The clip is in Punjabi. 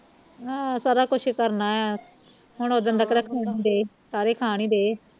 ਹਾਂ ਸਾਰਾ ਕੁਛ ਕਰਨਾ ਆ ਹੁਣ ਉਦਣ ਦਾ ਘਰੇ ਆਣ ਈ ਦਏ ਸਾਰੇ ਖਾਣ ਈ ਦਏ